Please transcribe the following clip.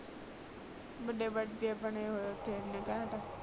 ਬੜੇ ਬੜੇ ਬਣੇ ਹੋਏ ਉਥੇ ਇਨੇ ਕੈਂਟ